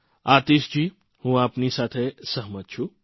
આતિશજી હું આપની સાથે સહમત છું